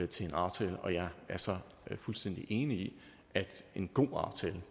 til en aftale og jeg er så fuldstændig enig i at en god aftale